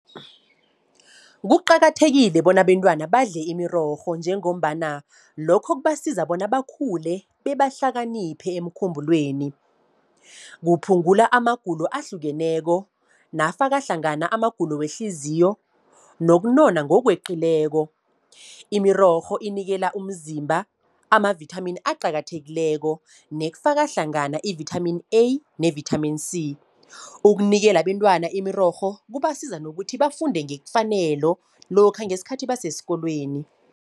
Kuqakathekile bona abentwana badle imirorho, njengombana lokho kubasiza bona bakhule, bebahlakaniphe emkhumbulweni. Kuphungula amagulo ahlukeneko, nafaka hlangana amagulo wehliziyo, nokunona ngokweqileko. Imirorho inikela umzimba ama-vithamini aqakathekileko, nekufaka hlangana i-vithamini A ne-vithamini C. Ukunikela abentwana imirorho, kubasiza nokuthi bafunde ngefanelo lokha ngeskhathi basesikolweni.